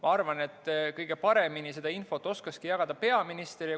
Ma arvan, et kõige paremini oskakski seda infot jagada peaminister.